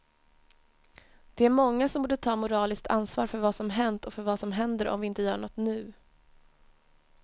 Det är många som borde ta moraliskt ansvar för vad som hänt och för vad som händer om vi inte gör något nu.